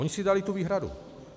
Oni si dali tu výhradu.